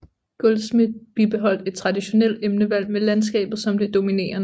Goldschmidt bibeholdt et traditionelt emnevalg med landskabet som det dominerende